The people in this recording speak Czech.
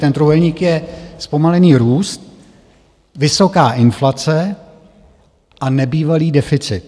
Ten trojúhelník je zpomalený růst, vysoká inflace a nebývalý deficit.